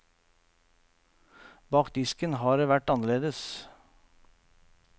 Bak disken har det vært annerledes.